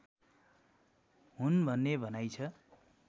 हुन् भन्ने भनाइ छ